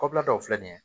Kɔbila dɔw filɛ nin ye